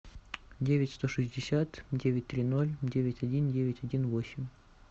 девять сто шестьдесят девять три ноль девять один девять один восемь